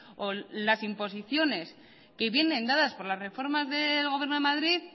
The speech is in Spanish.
o las imposiciones que vienen dadas por las reformas del gobierno de madrid